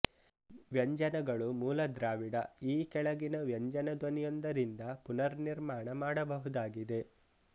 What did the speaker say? ವ್ಯಂಜನಗಳು ಮೂಲದ್ರಾವಿಡ ಈ ಕೆಳಗಿನ ವ್ಯಂಜನ ಧ್ವನಿಯೊಂದರಿಂದ ಪುನರ್ನಿರ್ಮಾಣ ಮಾಡಬಹುದಾಗಿದೆ